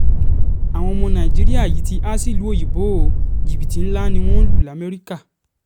àwọn ọmọ nàìjíríà yìí ti há sílùú òyìnbó ó jìbìtì ńlá ni wọ́n lù lamẹ́ríkà